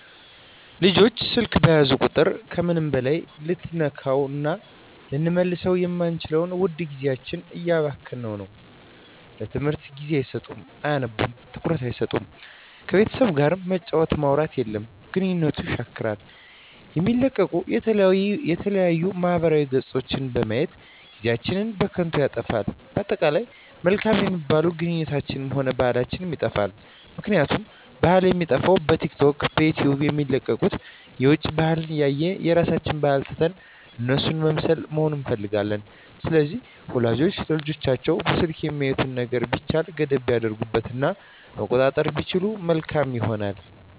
ልጆች ስልክ በያዙ ቁጥር ከምንም በላይ ልንተካዉእና ልንመልሰዉ የማንችለዉን ዉድ ጊዜያቸዉን እያባከኑት ነዉ ለትምህርት ጊዜ አይሰጡም አያነቡም ትኩረት አይሰጡም ከቤተሰብ ጋርም መጫወት ማዉራት የለም ግንኙነትን የሻክራል የሚለቀቁ የተለያዩ ማህበራዊ ገፆችን በማየት ጊዜአችን በከንቱ ይጠፋል በአጠቃላይ መልካም የሚባሉ ግንኙነታችንንም ሆነ ባህላችንንም ይጠፋል ምክንያቱም ባህል የሚጠፋዉ በቲክቶክ በዩቲዩብ የሚለቀቁትን የዉጭ ባህልን እያየን የራሳችንን ባህል ትተን እነሱን መምሰልና መሆን እንፈልጋለን ስለዚህ ወላጆች ለልጆቻቸዉ በስልክ የሚያዩትን ነገሮች ቢቻል ገደብ ቢያደርጉበት እና መቆጣጠር ቢችሉ መልካም ይሆናል